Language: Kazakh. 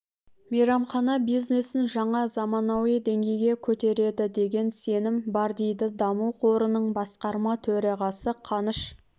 мейрамхана бизнесін жаңа заманауи деңгейге көтереді деген сенім бар дейді даму қорының басқарма төрағасы қаныш